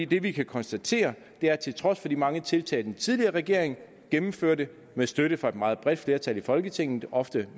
det vi kan konstatere er at til trods for de mange tiltag den tidligere regering gennemførte med støtte fra et meget bredt flertal i folketinget ofte